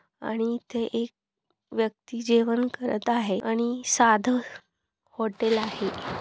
आणि इथे एक व्यक्ति जेवण करत आहे आणि साध हॉटेल आहे.